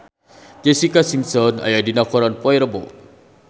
Jessica Simpson aya dina koran poe Rebo